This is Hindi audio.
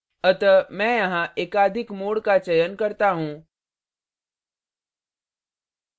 अतः मैं यहाँ एकाधिक mode का चयन करता choose